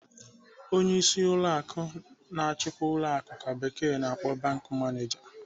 Onyeisi ụlọ akụ na-achikwa ụlọ akụ ka bekee na-akpọ 'bank manager.'